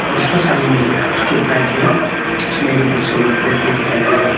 उसका सामने में जो एक स्ट्रीट लाइट है उसमें जो कुछ सोलर प्लेट भी दिखाई दे रहा है।